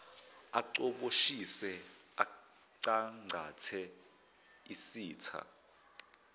acoboshise acangcathe isitha